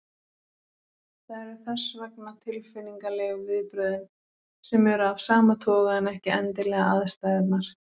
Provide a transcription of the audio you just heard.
Það eru þess vegna tilfinningalegu viðbrögðin sem eru af sama toga en ekki endilega aðstæðurnar.